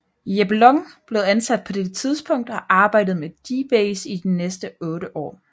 Jeb Long blev ansat på dette tidspunkt og arbejdede med dBASE i de næste 8 år